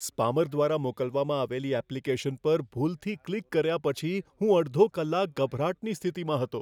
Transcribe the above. Spammer દ્વારા મોકલવામાં આવેલી એપ્લિકેશન પર ભૂલથી ક્લિક કર્યા પછી હું અડધો કલાક ગભરાટની સ્થિતિમાં હતો.